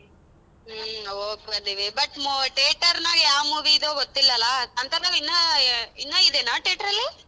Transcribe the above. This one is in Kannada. ಹ್ಮ್ ಹೋಗ್ಬರ್ತೀವಿ but theater ನಾಗ್ ಯಾವ್ movie ದು ಗೊತ್ತಿಲ್ಲ ಅಲ್ಲ ಕಾಂತಾರ ಇನ್ನ ಇನ್ನ ಇದೆನ theatre ರಲ್ಲಿ?